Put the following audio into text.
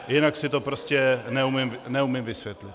Jinak si to prostě neumím vysvětlit.